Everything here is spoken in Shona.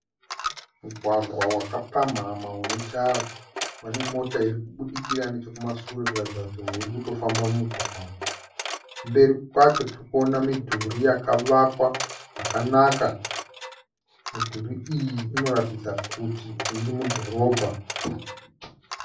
Mugwagwa wakapamhamha une tara, pane mota irikubudikira nechokumasure kuratidza kuti irikutofamba mumugwagwa umu. Kumberi kwacho tirikuona midhuri yakavakwa yakanaka. Midhuri iyi inoratidza kuti iri mudhorobha.